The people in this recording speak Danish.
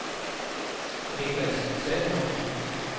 Nicklas Salomonsen